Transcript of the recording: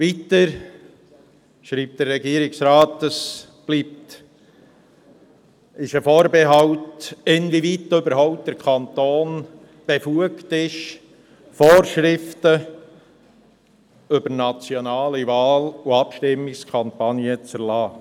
Weiter schreibt der Regierungsrat, es bestünde dahingehend ein Vorbehalt, inwieweit der Kanton überhaupt befugt sei, Vorschriften betreffend nationale Wahl- und Abstimmungskampagnen zu erlassen.